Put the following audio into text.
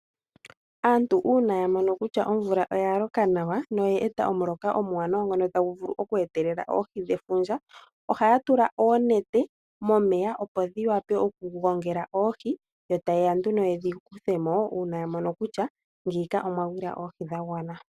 Aantu uuna yamono kutya omvula oya loka nawa na oye eta omuloka omuwanawa ngono tagu vulu oku etelela oohi dhefundja, ohaya tula oonete momeya opo dhi wape okugongela oohi yo tayeya ndunl yedhi kuthemo uuna yamono kutya ngiika omwagwila oohi dhagwana.